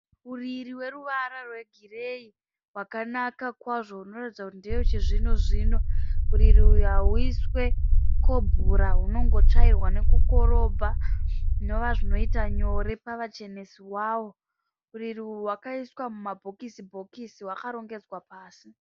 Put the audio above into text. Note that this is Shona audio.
Uriri hweruwara rwegirei rwakanaka kwazvo unoratidza kuti ndewechizvino zvino. Uriri hwauiswe kobhura hunongotsvairwa nokukorobha zvinobva zvinoita nyore pavachenesi waro. Uriri wakaiswa mumabhokisi bhokisi hwakarongedzwa pasi